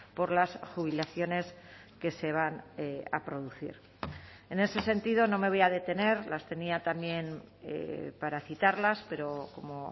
por las jubilaciones que se van a producir en ese sentido no me voy a detener las tenía también para citarlas pero como